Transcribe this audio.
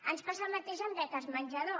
ens passa el mateix amb beques menjador